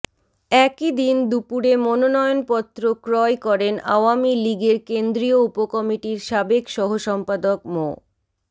একই দিন দুপুরে মনোনয়নপত্র ক্রয় করেন আওয়ামী লীগের কেন্দ্রীয় উপকমিটির সাবেক সহসম্পাদক মো